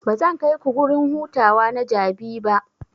Bazan kaiku gurin hutawa na Jabi ba.